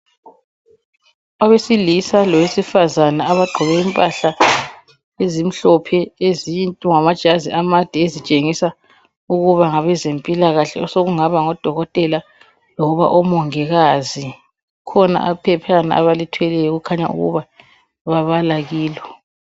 Abesilisa lowesifazana abagqoke impahla ezimhlophe ezinde amajazi amade ezitshengisa ukuba ngabezempilakahle osokungaba ngoDokotela loba oMongikazi. Kukhona iphephana abalithweleyo okukhaya ukuba babala kilo.